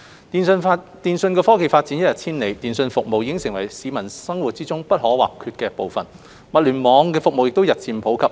電訊科技發展一日千里，通訊服務已成為市民生活不可或缺的部分，物聯網服務亦日漸普及。